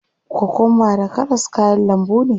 Kokwamba da karas kayan lambu ne.